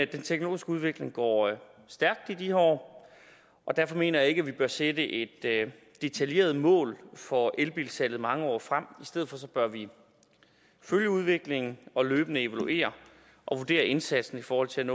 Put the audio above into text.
den teknologiske udvikling går stærkt i de her år og derfor mener jeg ikke at vi bør sætte et detaljeret mål for elbilsalget mange år frem i stedet bør vi følge udviklingen og løbende evaluere og vurdere indsatsen i forhold til